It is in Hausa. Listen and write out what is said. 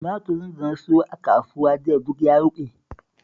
Tumaturin da na sayo a kasuwa jiya duk ya ruɓe